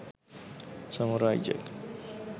samurai jack